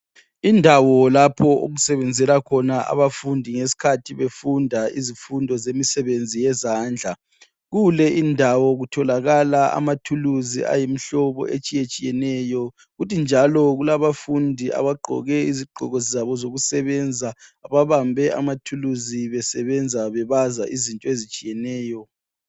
Indawo lapho okusebenzela khona abafundi ngesikhathi befunda izifundo ezemisebenzi yezandla. Kule indawo kutholakala amathuluzi ayimihlobo etshiyetshiyeneyo kuthi njalo kulabafundi abagqoke izigqoko zabo zokusebenza, babambe amathuluzi besebenza bebaza izinto zabo ezitshiyeneyo.